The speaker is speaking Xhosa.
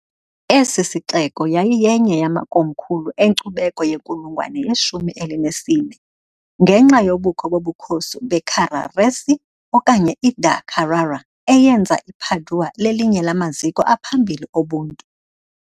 Esi sixeko yayiyenye yamakomkhulu enkcubeko yenkulungwane yeshumi elinesine, ngenxa yobukho bobukhosi beCarraresi okanye iDa Carrara, eyenza iPadua lelinye lamaziko aphambili obuntu .